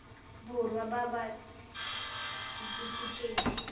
borwa ba ba ts setifikeite